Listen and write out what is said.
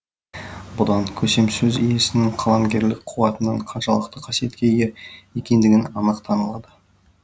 бұдан көсемсөз иесінің қаламгерлік қуатының қаншалықты қасиетке ие екендігі анық танылады